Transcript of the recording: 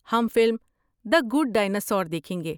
ہم film the good dinosaur دیکھیں گے۔